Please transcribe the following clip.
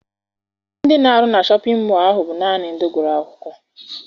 Ndị na-arụ na Shọpịn mọọ ahụ bụ naanị ndị gụrụ akwụkwọ.